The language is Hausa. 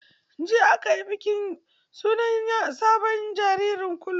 Jiya aka yi bikin sunan sabon jaririn kulu.